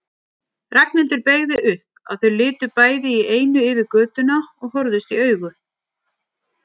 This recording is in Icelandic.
Ragnhildur beygði upp, að þau litu bæði í einu yfir götuna og horfðust í augu.